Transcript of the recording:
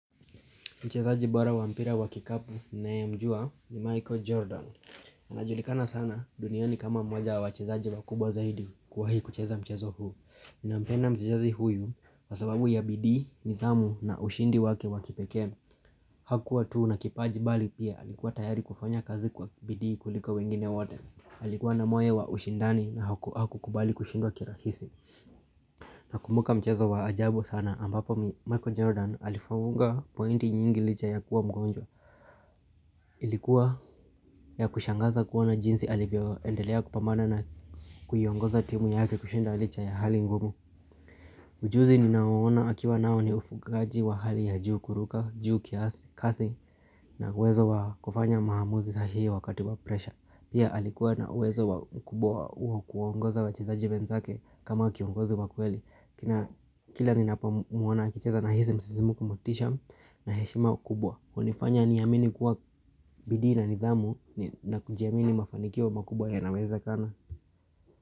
Mchezaji bora wa mpira wa kikapu ninaye mjua ni Michael Jordan. Anajulikana sana duniani kama moja wa wachezaji wakubwa zaidi kuwahi kucheza mchezo huu. Ninampenda mchejazi huyu kwa sababu ya bidii, nidhamu na ushindi wake wa kipekee. Hakuwa tu na kipaji bali pia alikuwa tayari kufanya kazi kwa bidii kuliko wengine wote. Alikuwa na moyo wa ushindani na hakukubali kushindwa kirahisi. Nakumbuka mchezo wa ajabu sana ambapo Michael Jordan alifunga pointi nyingi licha ya kuwa mgonjwa Ilikuwa ya kushangaza kuona jinsi alivyoendelea kupambana na kuiongoza timu yake kushinda licha ya hali ngumu Ujuzi ninao ona akiwa nao ni ufungaji wa hali ya juu kuruka, juu kiasi, kasi na wezo wa kufanya maamuzi sahihi wakati wa pressure Pia alikuwa na wezo wa ukubwa wa kuongoza wachizaji wenzake kama kiongozi wa kweli Kila ninapo muona akicheza nahisi msisimko motisha na heshima kubwa hunifanya niamini kuwa bidii na nidhamu na kujiamini mafanikio makubwa yanawezekana.